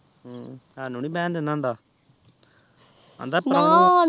ਹਮ ਸਾਨੂ ਨੀ ਬੇਹਂ ਦੇੰਦਾਹੁੰਦਾ ਆਂਦਾ